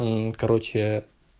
мм короче